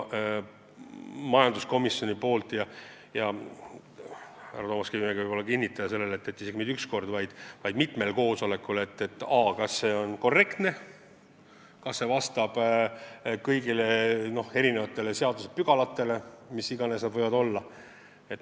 Majanduskomisjon uuris eraldi – härra Toomas Kivimägi võib kinnitada, et seda mitte üks kord, vaid mitmel koosolekul –, kas see on korrektne, kas see vastab kõigile seadusepügalatele, mis iganes need võivad olla.